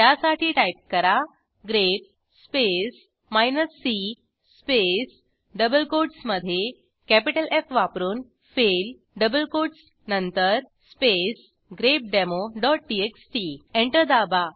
त्यासाठी टाईप करा grep space minus C space double कोटसमधे कॅपिटल एफ वापरून फेल डबल कोटस नंतर स्पेस grepdemoटीएक्सटी एंटर दाबा